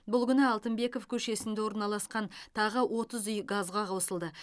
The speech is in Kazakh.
бұл күні алтынбеков көшесінде орналасқан тағы отыз үй газға қосылды